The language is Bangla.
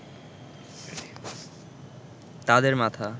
তাদের মাথা